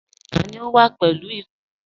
Tani ó wà pẹ̀lú ìkoro?